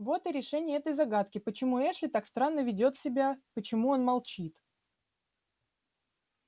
вот и решение этой загадки почему эшли так странно ведёт себя почему он молчит